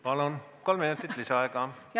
Palun, kolm minutit lisaaega!